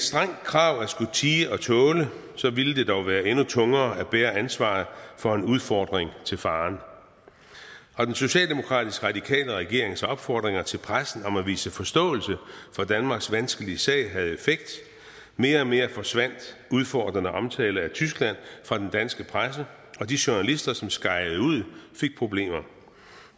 strengt krav at skulle tie og tåle så ville det dog være endnu tungere at bære ansvaret for en udfordring til faren den socialdemokratisk radikale regerings opfordringer til pressen om at vise forståelse for danmarks vanskelige sag havde effekt mere og mere forsvandt udfordrende omtale af tyskland fra den danske presse og de journalister som skejede ud fik problemer